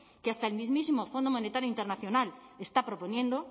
que hasta el mismísimo fondo monetario internacional está proponiendo